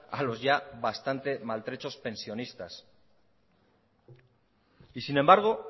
a los ya bastante maltrechos pensionistas y sin embargo